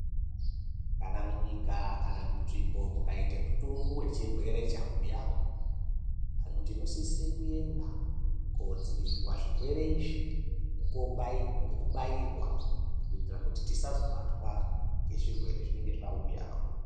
Kana munyika kana munzvimbomukaite mutungu wechirwere chauya , vanthu tinosise kuenda kudzivirirwa zvirwere izvi nekobairwa, nekubairwa ,kuitira kuti tisazobatwa ngezvirwere zvinenge zvauya.